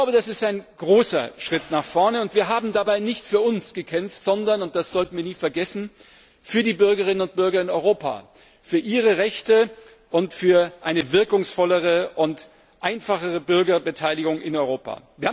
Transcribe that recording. Das ist ein großer Schritt nach vorn, und wir haben dabei nicht für uns gekämpft, sondern das sollten wir nie vergessen für die Bürgerinnen und Bürger in Europa, für ihre Rechte und für eine wirkungsvollere und einfachere Bürgerbeteiligung in Europa.